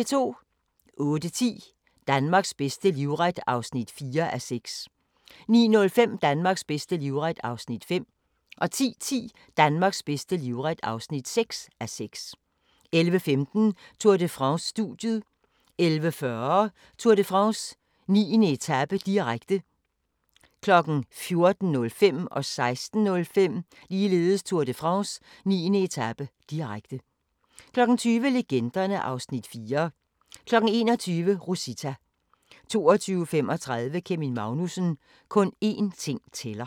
08:10: Danmarks bedste livret (4:6) 09:05: Danmarks bedste livret (5:6) 10:10: Danmarks bedste livret (6:6) 11:15: Tour de France: Studiet 11:40: Tour de France: 9. etape, direkte 14:05: Tour de France: 9. etape, direkte 16:05: Tour de France: 9. etape, direkte 20:00: Legenderne (Afs. 4) 21:00: Rosita 22:35: Kevin Magnussen - kun én ting tæller